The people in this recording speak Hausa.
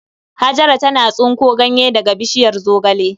Hajara tana tsinko ganye daga bishiyar zogale.